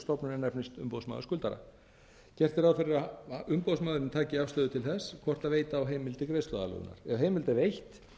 stofnun er nefnist umboðsmaður skuldara gert er ráð fyrir að umboðsmaðurinn taki afstöðu til þess hvort veita á heimild til greiðsluaðlögunar ef heimild er veitt